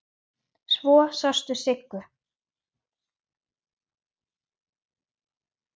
Svo sástu Siggu.